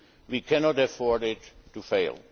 We cannot afford it